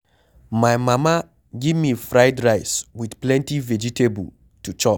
My mama give me fried rice with plenty vegetable to chop